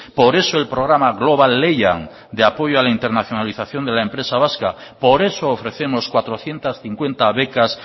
por eso el programa global lehian de apoyo a la internacionalización de la empresa vasca por eso ofrecemos cuatrocientos cincuenta becas